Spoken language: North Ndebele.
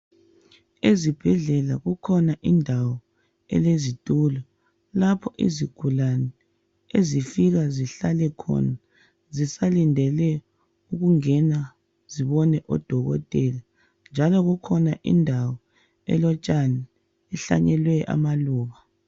Ezibhedlela kukhona indawo elezitulo lapho izigulane ezifika zihlalekhona zisalindele ukungena zibone odokotela njalo kukhona indawo elotshani ihlanyelwe amaluba .